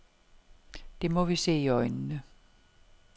Det må vi se i øjnene.